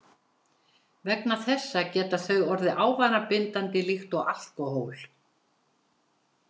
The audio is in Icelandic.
Vegna þessa geta þau orðið ávanabindandi líkt og alkóhól.